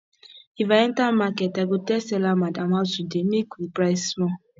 if i enter market i go tell seller madam how today make we price small